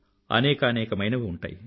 అనేకానేకమైనవి ఉంటాయి